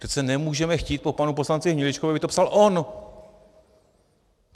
Přece nemůžeme chtít po panu poslanci Hniličkovi, aby to psal on!